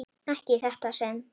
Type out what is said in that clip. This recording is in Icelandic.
Ekki í þetta sinn.